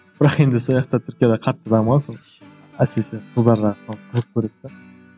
бірақ енді түркияда қатты дамыған сол әсіресе қыздар жағы сол қызық көреді де